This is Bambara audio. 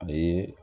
A ye